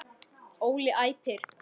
Óli æpir.